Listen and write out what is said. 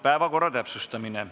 Päevakorra täpsustamine.